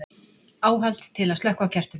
áhald til að slökkva á kertum